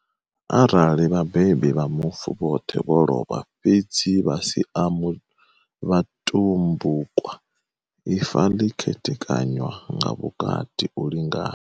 Arali vhabebi vha mufu vhoṱhe vho lovha, fhedzi vha sia vhatumbukwa, ifa ḽi khethekanywa nga vhukati u lingana.